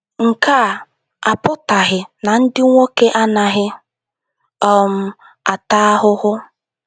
Nke a apụtaghị na ndị nwoke anaghị um ata ahụhụ.